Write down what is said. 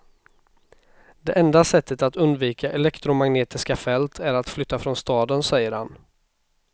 Det enda sättet att undvika elektromagnetiska fält är att flytta från staden, säger han.